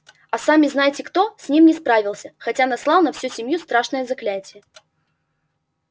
а сами-знаете-кто с ним не справился хотя наслал на всю семью страшное заклятие